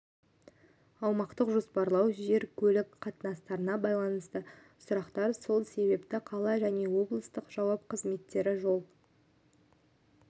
аумақтық жоспарлау жер көлік қатынасына байланысты сұрақтар сол себепті қала және облыстың жауапты қызметтері жол